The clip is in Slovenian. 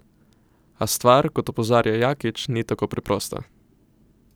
A stvar, kot opozarja Jakič, ni tako preprosta.